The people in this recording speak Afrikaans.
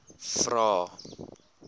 vvvvrae